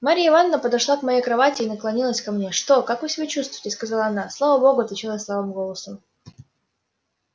марья ивановна подошла к моей кровати и наклонилась ко мне что как вы себя чувствуете сказала она слава богу отвечала я слабым голосом